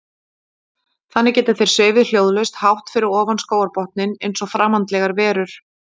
Þannig geta þeir svifið hljóðlaust hátt fyrir ofan skógarbotninn eins og framandlegar verur.